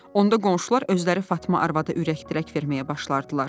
Onda qonşular özləri Fatma arvadı ürək-dirək verməyə başlardılar.